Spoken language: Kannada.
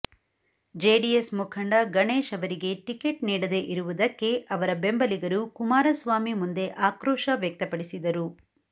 ಜೆಡಿಎಸ್ ಮುಖಂಡ ಗಣೇಶ್ ಅವರಿಗೆ ಟಿಕೆಟ್ ನೀಡದೇ ಇರುವುದಕ್ಕೆ ಅವರ ಬೆಂಬಲಿಗರು ಕುಮಾರಸ್ವಾಮಿ ಮುಂದೆ ಆಕ್ರೋಶ ವ್ಯಕ್ತಪಡಿಸಿದರು